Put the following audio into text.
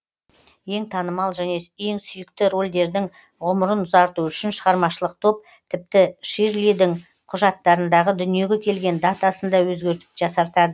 ең танымал және ең сүйікті рольдердің ғұмырын ұзарту үшін шығармашылық топ тіпті ширлидің құжаттарындағы дүниеге келген датасын да өзгертіп жасартады